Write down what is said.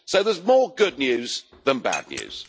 So there's more good news than bad news.